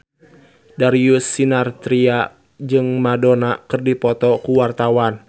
Darius Sinathrya jeung Madonna keur dipoto ku wartawan